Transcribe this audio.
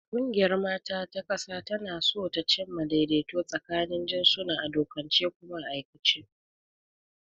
Ƙungiyar mata ta ƙasa tana so ta cimma daidaito tsakanin jinsuna a dokance kuma a aikace.